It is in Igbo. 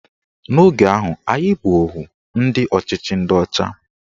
N'oge ahụ, anyị bụ ohu ndị ọchịchị ndị ọcha